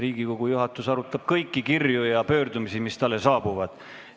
Riigikogu juhatus arutab kõiki kirju ja pöördumisi, mis talle saabuvad.